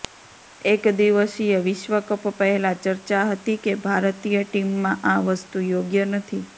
એકદિવસીય વિશ્વ કપ પહેલા ચર્ચા હતી કે ભારતીય ટીમમાં આ વસ્તુ યોગ્ય નથી